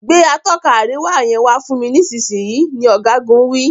Gbé Atọ́ka àríwá yen fún mí nísìsiyìí! ní ogagun wí.